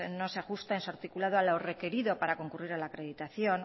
no se ajusta en su articulado a lo requerido para concurrir a la acreditación